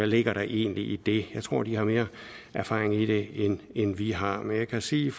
ligger i det jeg tror de har mere erfaring i det end vi har men jeg kan sige